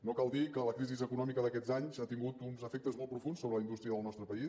no cal dir que la crisi econòmica d’aquests anys ha tingut uns efectes molt profunds sobre la indústria del nostre país